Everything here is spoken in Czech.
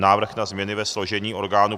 Návrh na změny ve složení orgánů